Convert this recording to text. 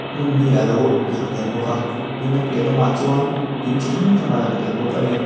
hmun hi alo lang tel bawk a tin a piah lamah chuan in chi hrang hrang a lang tel bawk ani.